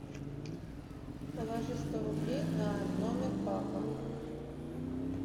положи сто рублей на номер папа